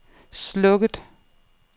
slukket